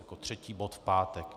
Jako třetí bod v pátek.